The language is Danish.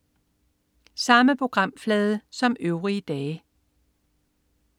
Samme programflade som øvrige dage